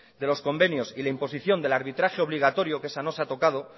de los convenios y la imposición del arbitraje obligatorio que esa no se ha tocado